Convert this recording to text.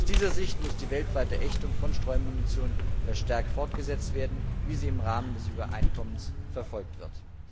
Aus dieser Sicht muss die weltweite Ächtung von Streumunition verstärkt fortgesetzt werden, wie sie im Rahmen des Übereinkommens verfolgt wird.